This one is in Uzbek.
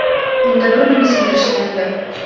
Unda burnimni sindirishgandi.